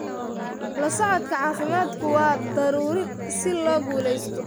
La socodka caafimaadku waa daruuri si loo guulaysto.